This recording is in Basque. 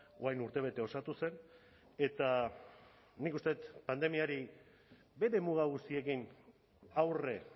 orain urtebete osatu zen eta nik uste dut pandemiari bere muga guztiekin aurre